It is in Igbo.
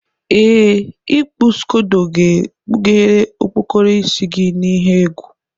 Ee, ikpu Ịsị scodo ga-ekpughere okpokoro isi gị n'ihe egwu.